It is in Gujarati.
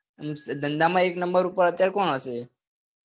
ધંધા માં હાલ એક નંબર પર કોણ હશે